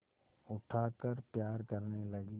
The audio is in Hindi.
उठाकर प्यार करने लगी